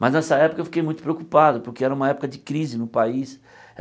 Mas nessa época eu fiquei muito preocupado, porque era uma época de crise no país.